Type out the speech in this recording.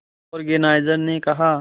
organiser ने कहा